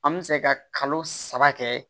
An bɛ se ka kalo saba kɛ